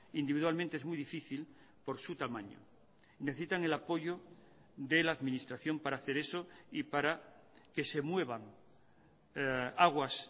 individualmente es muy difícil por su tamaño necesitan el apoyo de la administración para hacer eso y para que se muevan aguas